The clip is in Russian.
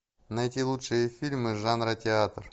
найти лучшие фильмы жанра театр